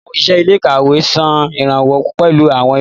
Awọn oṣiṣẹ ilé-ìkawe ṣe iranlọwọ pẹlu awọn ìwé.